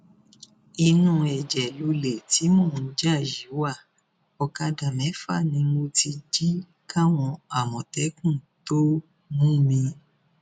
inú ẹjẹ lọlẹ tí mò ń jà yìí wá ọkadà mẹfà ni mo ti jí káwọn àmọtẹkùn tóo mú mi